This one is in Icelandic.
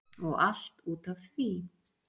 og allt út af því